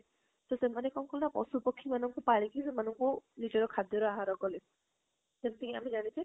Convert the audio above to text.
ତ ସେମାନେ କଣ କଲେ ନା ପଶୁ ପାଖି ମାନଙ୍କୁ ସେମାନେ ନିଜର ଖାଦ୍ୟ ର ଆହାର କଲେ ଯେମିତି କି ଆମେ ଯାଣିଛେ